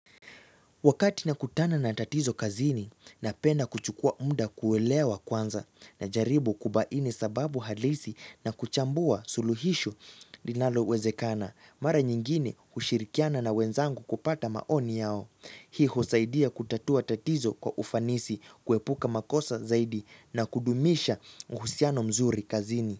Wakati nakutana na tatizo kazini, napenda kuchukuwa muda kuelewa kwanza, najaribu kubaini sababu halisi na kuchambua suluhisho linalowezekana. Mara nyingine ushirikiana na wenzangu kupata maoni yao. Hii husaidia kutatua tatizo kwa ufanisi, kuepuka makosa zaidi na kudumisha uhusiano mzuri kazini.